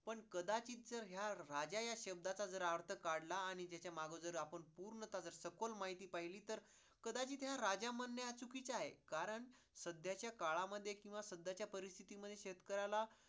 पण कदाचि जर ह्या राजा ह्या शब्दाचा अर्थ काढला आणि त्याच्या आपण पूर्णतः सखोल माहिती पहिली तर कदाचित ह्या राजा म्हणे चुकीचं आहे कारण सध्या च्या काळामध्ये किंवा सध्याच्या परिस्तिथी मध्ये शेतकऱ्याला